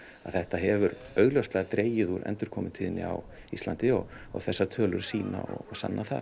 að þetta hefur augljóslega dregið úr endurkomutíðni á Íslandi og þessar tölur sýna og sanna það